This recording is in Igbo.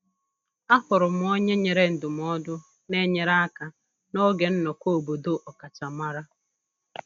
Ahụrụ m onye nyere ndụmọdụ na-enyere aka n'oge nnọkọ obodo ọkachamara